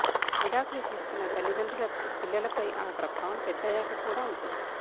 విడాకులు తీసుకున్న తల్లిదండ్రుల పిల్లలపై ఆ ప్రభావం పెద్దయ్యాక కూడా ఉంటుంది